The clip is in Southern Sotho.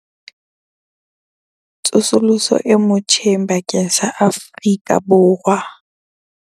Tsosoloso e motjheng bakeng sa Afrika Borwa.